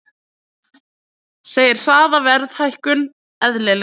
Segir hraða verðhækkun eðlilega